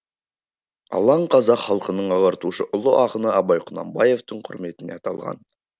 алаң қазақ халқының ағартушы ұлы ақыны абай құнанбаевтың құрметіне аталған